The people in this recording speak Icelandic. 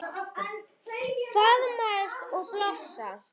Faðmast og blossa.